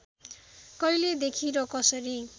कहिलेदेखि र कसरी